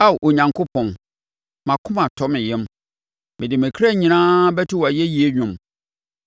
Ao Onyankopɔn, mʼakoma atɔ me yam; mede me kra nyinaa bɛto wʼayɛyie dwom.